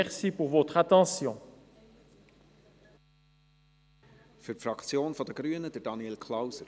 Für die Fraktion der Grünen Daniel Klauser.